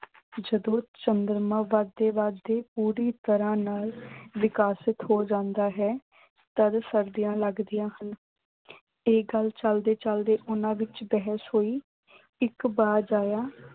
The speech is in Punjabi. ਜਦੋਂ ਚੰਦਰਮਾ ਵਧਦੇ-ਵਧਦੇ ਪੂਰੀ ਤਰ੍ਹਾਂ ਨਾਲ ਵਿਕਸਿਤ ਹੋ ਜਾਂਦਾ ਹੈ। ਤਦ ਸਰਦੀਆਂ ਆਉਣ ਲਗਦੀਆਂ ਹਨ। ਇਹ ਗੱਲ ਚਲਦੇ-ਚਲਦੇ ਉਨ੍ਹਾਂ ਵਿੱਚ ਬਹਿਸ ਹੋਈ। ਇੱਕ ਬਾਜ